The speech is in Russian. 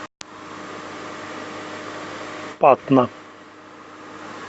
патна